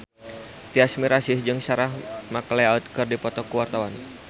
Tyas Mirasih jeung Sarah McLeod keur dipoto ku wartawan